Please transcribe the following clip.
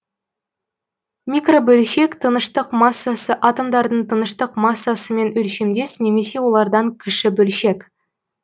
микробөлшек тыныштық массасы атомдардың тыныштық массасымен өлшемдес немесе олардан кіші бөлшек